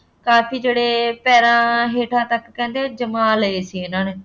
ਕਾਫੀ ਜਿਹੜੇ ਪੈਰਾਂ ਹੇਠਾਂ ਤੱਕ ਕਹਿੰਦੇ ਜਮ੍ਹਾ ਲਏ ਸੀ ਇਹਨਾ ਨੇ